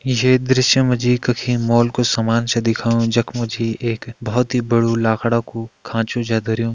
ये दृश्य मा जी कखि मॉल कु सामान छ दिखाऊं जख मा जी एक बहोत ही बड़ु लाखड़ा कु खाँचु छ धर्युं।